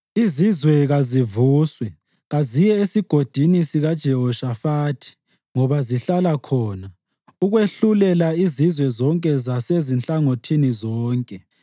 “Izizwe kazivuswe; kaziye eSigodini sikaJehoshafathi ngoba ngizahlala khona ukwehlulela izizwe zonke zasezinhlangothini zonke.